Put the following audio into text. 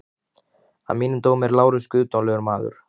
Að mínum dómi er Lárus guðdómlegur maður.